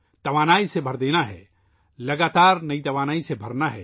توانائی سے بھر دینا ہے ، مسلسل نئی توانائی سے بھر دینا ہے